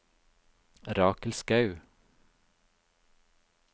Rakel Skaug